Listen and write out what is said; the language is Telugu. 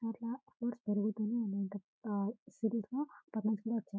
ఆలా హౌర్స్ పెరుగుతూనే ఉంటాయి సరఫ తనకు కూడా వచ్చాయి.